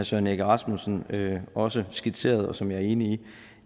søren egge rasmussen også skitserede og som jeg er enig